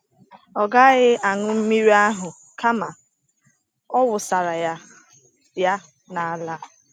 Ọ gaghị aṅụ mmiri ahụ kama ọ wụsara ya ya n’ala.